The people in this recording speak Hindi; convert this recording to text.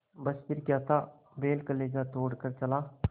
बस फिर क्या था बैल कलेजा तोड़ कर चला